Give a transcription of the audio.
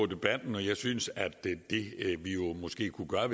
debatten og jeg synes at det vi måske kunne gøre